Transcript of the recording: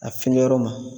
A feere yɔrɔ ma